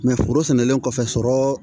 foro sɛnɛlen kɔfɛ sɔrɔ